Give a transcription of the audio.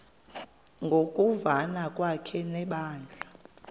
ngokuvana kwakhe nebandla